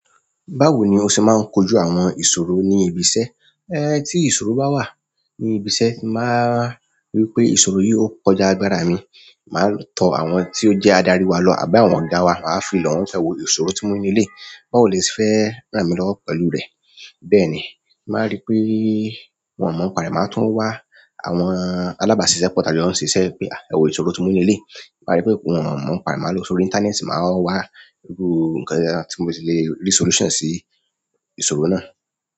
Báwo ni o ṣe máa ń kojú àwọn ìṣòro ní ibi iṣẹ́? Ẹ tí ìṣòro bá wà ní ibi iṣẹ́, ti mo bá ri wipé ìṣòro yìí ó kọjá agbára mi, màá tọ àwọn tí ó jẹ́ adarí wa lọ àbí àwọn ọ̀gá wa, máa fìlọ̀ wọn pẹ́ e wo ìṣòro tí mo ní ni eléyi. Bawò lè se fẹ́ ràn mí lọ́wọ́ pẹ̀lú rẹ̀. Bẹ́ẹ̀ni, ti n bá rí pé wọ́n mọ̀ n pàrẹ́, màá tún wá àwọn alábàáṣiṣẹ́pọ̀ ta jo ń ṣe iṣẹ́ pé, ẹ wo ìṣòro tí mo ní eleyi. Màá rí pé wọ́n mọ̀ n pàrẹ́, màá lò sórí íńtánẹ́ẹ̀tì, màá wá irú ǹkan tí mo ti le rí solution sí ìṣòro náà.